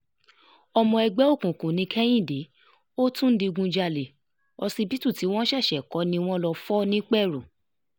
ọmọ ẹgbẹ́ òkùnkùn ní kehinde ó tún ń digunjalè ọsibítù tí wọ́n ṣẹ̀ṣẹ̀ kó ni wọ́n lọ́ọ́ fọ nìpẹ̀rù